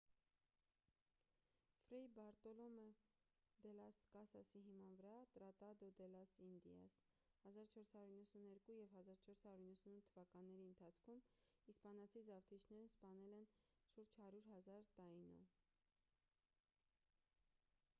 ֆրեյ բարտոլոմե դե լաս կասասի հիման վրա տրատադո դե լաս ինդիաս՝ 1492 և 1498 թվականների ընթացքում իսպանացի զավթիչներն սպանել են շուրջ 100,000 տաինո: